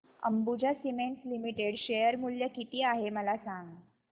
Ambuja cements limited share मूल्य किती आहे मला सांगा